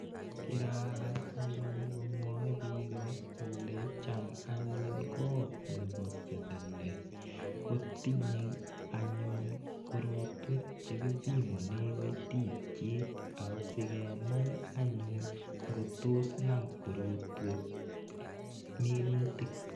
Kirakas anyun komwae pika kole cham anyun kot nepa selele ko tinye anyun korotwek che kipimane kaititiet asikenai anyun ngo tos nam korotwek minutik.